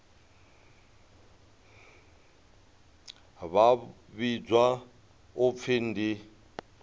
vha vhidzwa u pfi ndi